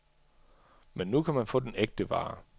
Men nu kan man få den ægte vare.